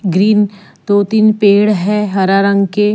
Green दो तीन पेड़ है हरा रंग के ।